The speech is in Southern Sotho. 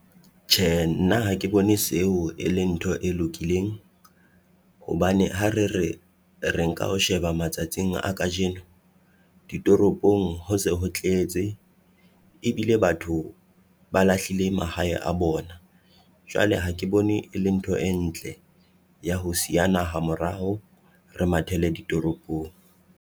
Tje nna ha ke bone seo e leng ntho e lokileng, hobane ha re re, re nka o sheba matsatsing a kajeno. Ditoropong ho se ho tletse, ebile batho ba lahlile mahae a bona. Jwale ha ke bone e le ntho e ntle ya ho siya naha moraho, re mathele ditoropong.